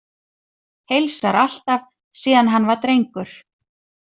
Heilsar alltaf, síðan hann var drengur.